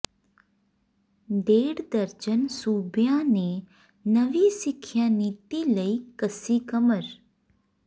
ਡੇਢ ਦਰਜਨ ਸੂਬਿਆਂ ਨੇ ਨਵੀਂ ਸਿੱਖਿਆ ਨੀਤੀ ਲਈ ਕੱਸੀ ਕਮਰ